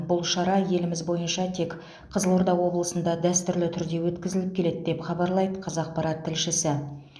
бұл шара еліміз бойынша тек қызылорда облысында дәстүрлі түрде өткізіліп келеді деп хабарлайды қазақпарат тілшісі